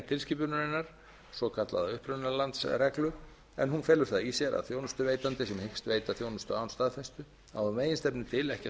tilskipunarinnar svokallaða upprunalandsreglu en hún felur það í sér að þjónustuveitandi sem hyggst veita þjónustu án staðfestu á að meginstefnu til ekki að þurfa að